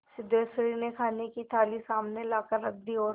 सिद्धेश्वरी ने खाने की थाली सामने लाकर रख दी और